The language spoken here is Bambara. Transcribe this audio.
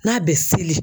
N'a bɛ seli